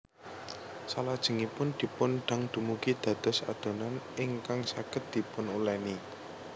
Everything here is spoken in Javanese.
Salajengipun dipun dang dumugi dados adonan ingkag saged dipunuleni